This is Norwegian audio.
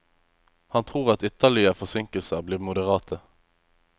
Han tror at ytterligere forsinkelser blir moderate.